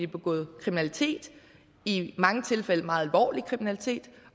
begået kriminalitet i mange tilfælde meget alvorlig kriminalitet